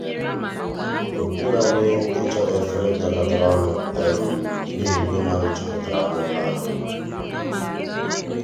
okweghị anyị i chọta efere gakọtara ọnụ n'ihi ìgwè mmadụ juputara n'ụlọ ahụ.